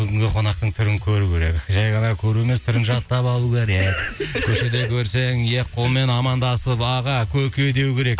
бүгінгі қонақтың түрін көру керек жай ғана көріп емес түрін жаттап алу керек көшеде көрсең екі қолмен амандасып аға көке деу керек